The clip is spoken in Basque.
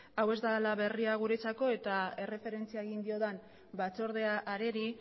hau ez dela berria guretzako eta erreferentzia egin diodan batzordea areri